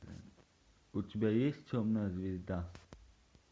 у тебя есть темная звезда